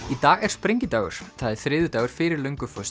í dag er sprengidagur það er þriðjudagur fyrir